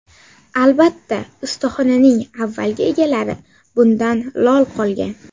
Albatta, ustaxonaning avvalgi egalari bundan lol qolgan.